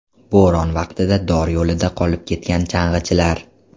Bo‘ron vaqtida dor yo‘lida qolib ketgan chang‘ichilar.